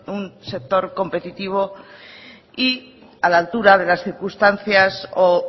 un sector competitivo y a la altura de las circunstancias o